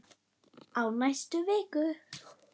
Á næstu vikum.